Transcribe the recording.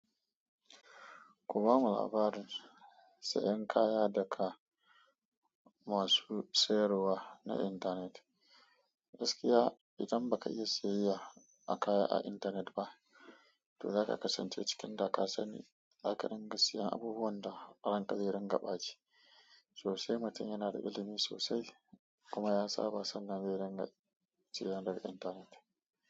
Ku ba mu labarin sayan kaya daga masu sayarwa na intanet. Gaskiya idan baka iya siyayya a kaya a internet ba, to zaka kasance cikin da ka sani zaka dinga siyan abubuwan da ranka zai dinga baci. Sosai mutum yana da ilimi sosai kuma ya saba sannan zai ringa siya daga intanet.